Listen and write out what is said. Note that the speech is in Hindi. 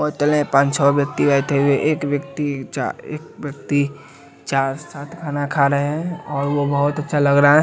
पांच छोह व्यक्ति बैठे हुए हैं एक व्यक्ति चार एक व्यक्ति चार साथ खाना खा रहे है और वो बहोत अच्छा लग रहा--